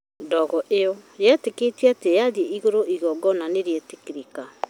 Ndogo ĩyo yetĩkĩtio atĩ yathiĩ igũrũ igongona nĩrĩgwĩtĩkĩrĩka